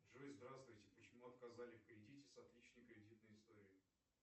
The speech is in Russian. джой здравствуйте почему отказали в кредите с отличной кредитной историей